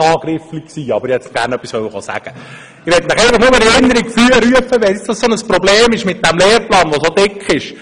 Ich möchte Ihnen einfach nur etwas in Erinnerung rufen, wenn das für Sie nun so ein Problem ist mit dem Lehrplan, der so dick sei.